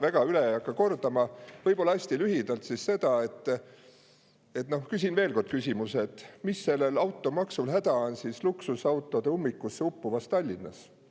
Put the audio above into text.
Väga ei hakka üle kordama, aga hästi lühidalt küsin veel kord, mis on sellel automaksul häda luksusautode ummikusse uppuvas Tallinnas.